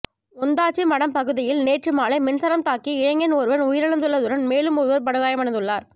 ஓந்தாச்சிமடம் பகுதியில் நேற்று மாலை மின்சாரம் தாக்கி இளைஞன் ஒருவர் உயிரிழந்துள்ளதுன் மேலும் ஒருவர் படுகாயமடைந்துள்ளார்